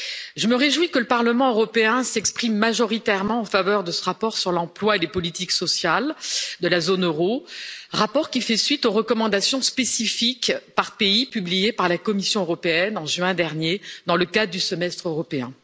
Je me réjouis que le Parlement européen s'exprime majoritairement en faveur de ce rapport sur l'emploi et les politiques sociales de la zone euro, rapport qui fait suite aux recommandations spécifiques par pays publiées par la Commission européenne, en juin dernier, dans le cadre du Semestre européen.